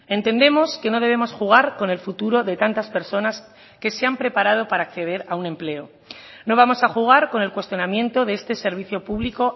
entendemos que no debemos jugar con el futuro de tantas personas que se han preparado para acceder a un empleo no vamos a jugar con el cuestionamiento de este servicio público